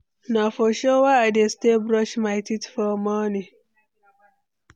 Na for shower I dey stay brush my teeth for morning.